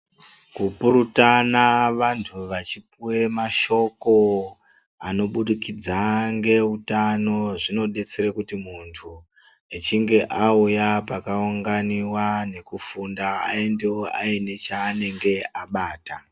Kupurutana vantu vachipuwe mashoko anobudikidza ngeutano zvinodetsere kuti muntu echinge auya pakaunganiwa nekufunda aendewo aine chaanenge abata.